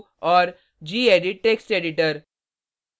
gedit text editor